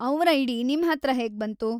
ಅವ್ರ್ ಐಡಿ ನಿಮ್ಹತ್ರ ಹೇಗ್ಬಂತು?